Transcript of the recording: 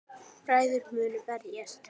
Bræður munu berjast